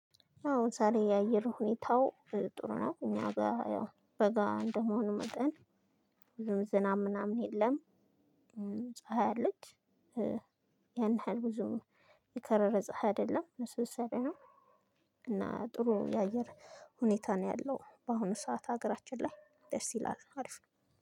አሁን ዛሬ የአየር ሁኔታው ጥሩ ነው እኛ ጋር ያው በጋ እንደመሆኑ መጠን ብዙም ዝናብ ምናምን የለም። ፀሀይ አለች ያን ያህል ብዙም የከረረ ፀሀይ አይደለም ልስልስ ያለ ነው። እና ጥሩ የአየር ሁኔታ ነው ያለው በአሁኑ ሰዓት ሀገራችን ላይ ደስ ይላል አሪፍ ነው።